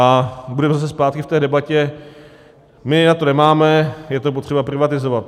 A budeme zase zpátky v té debatě - my na to nemáme, je to potřeba privatizovat.